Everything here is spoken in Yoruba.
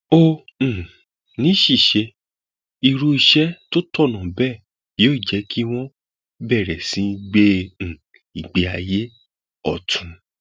ó um ní ṣíṣe irú iṣẹ tó tọnà bẹẹ yóò jẹ kí wọn bẹrẹ sí í gbé um ìgbé ayé ọtún